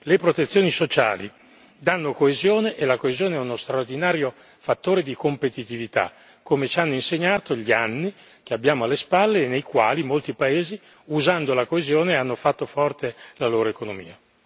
Le protezioni sociali danno coesione e la coesione è uno straordinario fattore di competitività, come ci hanno insegnato gli anni che abbiamo alle spalle e nei quali molti paesi, usando la coesione, hanno fatto forte la loro economia.